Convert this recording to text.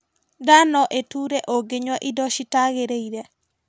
Nda no ĩture ũngĩnyua indo citagĩrĩire